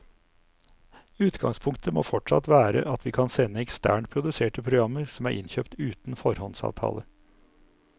Utgangspunktet må fortsatt være at vi kan sende eksternt produserte programmer som er innkjøpt uten foråndsavtale.